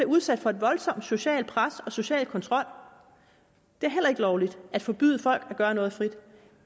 udsat for et voldsomt socialt pres og en social kontrol det er heller ikke lovligt at forbyde folk at gøre noget frit